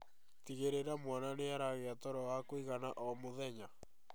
Tigĩrĩra mwana nĩaragia toro wa kũigana o mũthenya